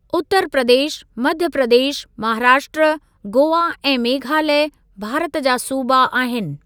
उत्तर प्रदेश, मध्य प्रदेश, महाराष्ट्र, गोआ ऐं मेघालय भारत जा सूबा आहिनि।